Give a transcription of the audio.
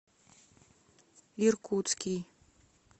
иркутский